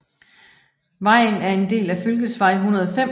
Vejen er en del af Fylkesvei 105